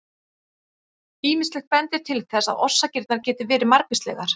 Ýmislegt bendir til þess að orsakirnar geti verið margvíslegar.